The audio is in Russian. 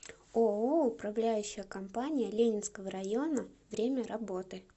ооо управляющая компания ленинского района время работы